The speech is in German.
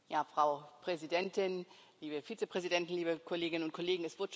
Frau Präsidentin, liebe Vizepräsidenten, liebe Kolleginnen und Kollegen!